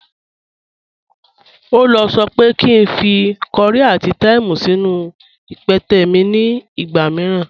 Ọla sọ pé kí n fí kọ̀ríì àti thyme sínú ìpẹtẹ̀ mi ni ìgba míìràn.